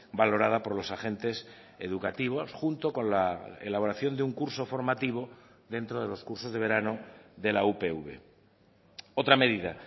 valorada por los agentes educativos junto con la elaboración de un curso formativo dentro de los cursos de verano de la upv otra medida